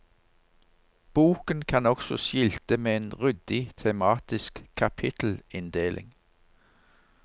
Boken kan også skilte med en ryddig tematisk kapittelinndeling.